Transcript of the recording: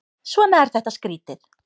Svona er þetta skrýtið.